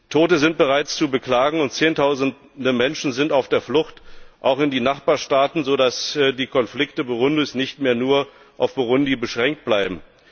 Tote sind bereits zu beklagen, und Zehntausende Menschen sind auf der Flucht, auch in die Nachbarstaaten, sodass die Konflikte Burundis nicht mehr nur auf Burundi beschränkt bleiben.